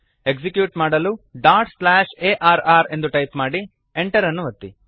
execute ಮಾಡಲು arr dot slash A R R ಎಂದು type ಮಾಡಿ Enter ಅನ್ನು ಒತ್ತಿ